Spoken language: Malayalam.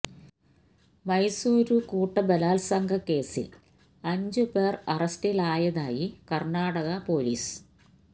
മൈസൂരു കൂട്ടബലാത്സംഗ കേസില് അഞ്ച് പേര് അറസ്റ്റിലായതായി കര്ണ്ണാടക പൊലീസ്